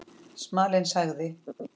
Smalinn sagði